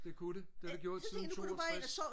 det kunne det det har det gjort siden toogtres